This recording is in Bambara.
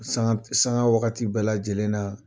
Sanga waagati bɛɛ lajɛlenna